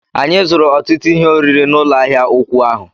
Anyị zụrụ ọtụtụ ihe oriri n'ụlọ ahịa ụkwụ ahụ